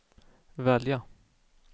välja